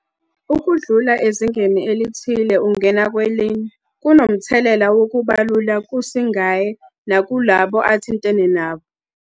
Ukudlula ezingeni elithile ungena kwelinye, kunomthelela wokuba lula kusingaye nakulabo athintene nabo.